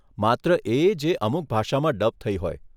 માત્ર એ જે અમુક ભાષામાં ડબ થઇ હોય.